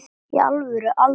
í alvöru aldrei